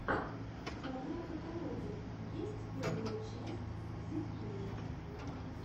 в твоем каталоге есть первая часть зидкея